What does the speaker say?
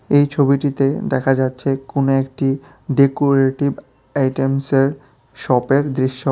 এই ছবিটিতে দেখা যাচ্ছে কোনো একটি ডেকোরেটিভ আইটেমসের শপের দৃশ্য।